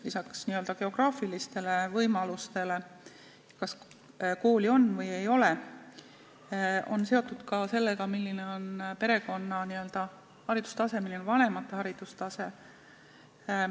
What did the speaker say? Lisaks n-ö geograafilistele võimalustele, sellele, kas kooli on või ei ole, on see seotud ka sellega, milline on vanemate haridustase.